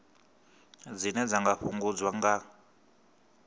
dzine dza nga fhungudzwa nga